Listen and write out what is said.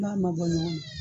N'a ma bɔ ɲɔgɔnna